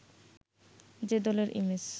যে দলের ইমেজ